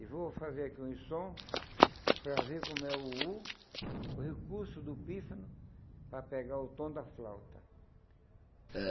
E vou fazer aqui um som para ver como é o o o o recurso do pífano para pegar o tom da flauta.